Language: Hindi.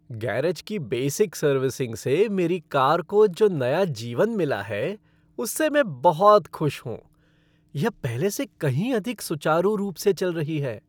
गैरेज की बेसिक सर्विसिंग से मेरी कार को जो नया जीवन मिला है उससे मैं बहुत खुश हूँ, यह पहले से कहीं अधिक सुचारू रूप से चल रही है!